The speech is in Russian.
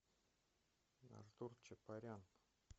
артур чапарян